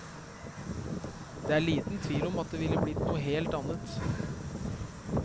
Det er liten tvil om at det ville blitt noe helt annet.